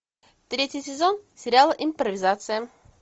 третий сезон сериала импровизация